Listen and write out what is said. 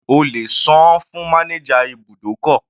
O lè sàn-án fún manager ibùdókọ̀.